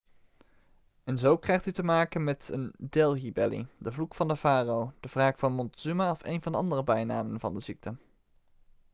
en zo krijgt u te maken met een delhi belly' de vloek van de farao de wraak van montezuma of een van de andere bijnamen van de ziekte